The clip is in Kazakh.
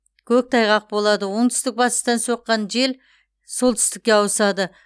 көктайғақ болады оңтүстік батыстан соққан жел солтүстікке ауысады